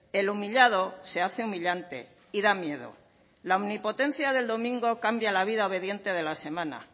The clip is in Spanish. el humillado se hace humillante y da miedo la omnipotencia del domingo cambia la vida obediente de la semana